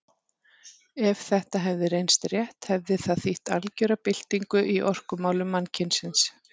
Ef þetta hefði reynst rétt hefði það þýtt algera byltingu í orkumálum mannkynsins.